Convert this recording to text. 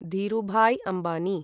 Dhirubhai Ambani